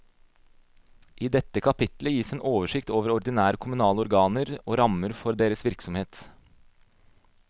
I dette kapittel gis en oversikt over ordinære kommunale organer og rammene for deres virksomhet.